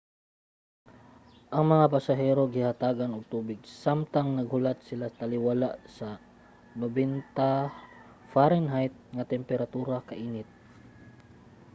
ang mga pasahero gihatagan og tubig samtang naghulat sila taliwala sa 90 fahrenheit nga temperatura kainit